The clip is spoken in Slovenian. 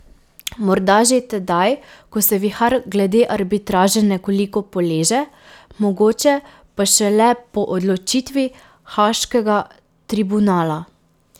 Morda že tedaj, ko se vihar glede arbitraže nekoliko poleže, mogoče pa šele po odločitvi haaškega tribunala.